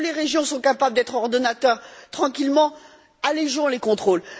Là où les régions sont capables d'être ordonnateurs tranquillement, allégeons les contrôles.